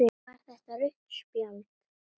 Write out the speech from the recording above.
Var þetta rautt spjald?